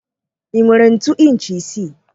Ị nwere ntu inchi isii?